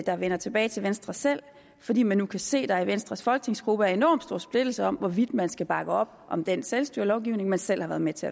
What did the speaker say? der vender tilbage til venstre selv fordi man nu kan se at der i venstres folketingsgruppe er enormt stor splittelse om hvorvidt man skal bakke op om den selvstyrelovgivning man selv har været med til